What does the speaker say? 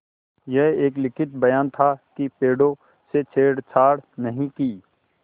यह एक लिखित बयान था कि पेड़ों से छेड़छाड़ नहीं की